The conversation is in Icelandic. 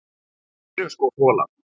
Við erum sko folar.